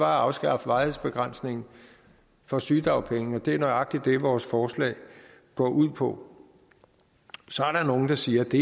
afskaffe varighedsbegrænsningen for sygedagpenge det er nøjagtig det vores forslag går ud på så er der nogle der siger at det